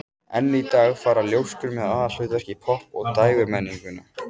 Enn í dag fara ljóskur með aðalhlutverk í popp- og dægurmenningu.